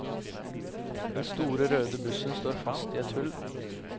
Den store røde bussen står fast i et hull.